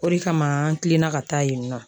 O de kama an kilenna ka taa yen nɔ.